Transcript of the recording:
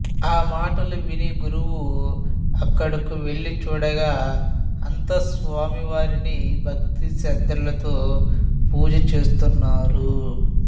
ఆ మాటలు విని గురువు అక్కడకు వెళ్లి చూడగా అంతా స్వామివారిని భక్తి శ్రద్ధలతో పూజ చేస్తున్నారు